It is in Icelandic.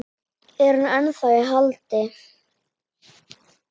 Er hann ennþá í haldi?